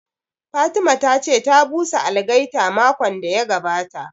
Fatima ta ce ta busa algaita makon da ya gabata